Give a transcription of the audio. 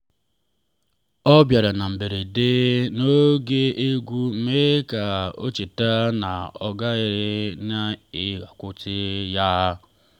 ọbịara na mberede n'oge egwu mee ka o cheta na ọ nọgidere na-akwado ya.